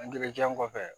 Angilɛjan kɔfɛ